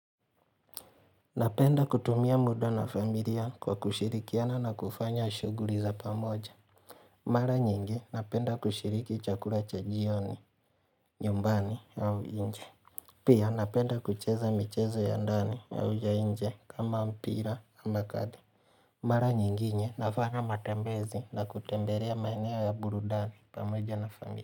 Napenda kutumia muda na familia kwa kushirikiana na kufanya shughuli za pamoja Mara nyingi napenda kushiriki chakula cha jioni nyumbani au nje Pia napenda kucheza michezo ya ndani ya nje kama mpira ama makadi Mara nyingine nafanya matembezi na kutembelea maeneo ya burudani pamoja na familia.